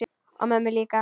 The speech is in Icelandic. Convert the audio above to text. Og mömmu líka.